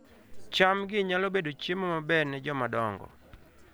cham-gi nyalo bedo chiemo maber ne joma dongo